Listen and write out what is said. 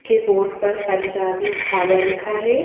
के बोर्ड पर पंजाबी ढाबा लिखा है।